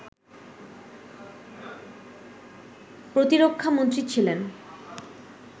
প্রতিরক্ষা মন্ত্রী ছিলেন